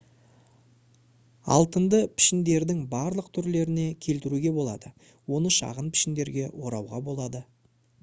алтынды пішіндердің барлық түрлеріне келтіруге болады оны шағын пішіндерге орауға болады